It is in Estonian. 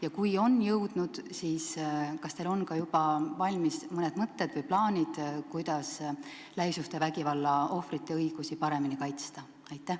Ja kui on jõudnud, siis kas teil on ka mõned mõtted või plaanid, kuidas lähisuhtevägivalla ohvrite õigusi paremini kaitsta?